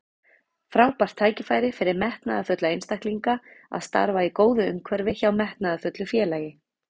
Frábært tækifæri fyrir metnaðarfulla einstaklinga að starfa í góðu umhverfi hjá metnaðarfullu félagi.